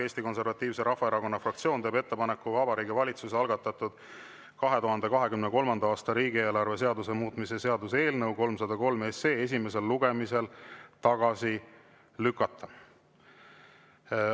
Eesti Konservatiivse Rahvaerakonna fraktsioon teeb ettepaneku Vabariigi Valitsuse algatatud 2023. aasta riigieelarve seaduse muutmise seaduse eelnõu 303 esimesel lugemisel tagasi lükata.